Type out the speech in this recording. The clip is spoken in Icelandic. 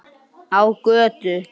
Á götu.